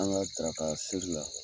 An ka tarata seli la